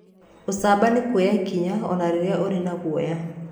Ũcamba nĩ kuoya ikinya o na rĩrĩa ũrĩ na guoya.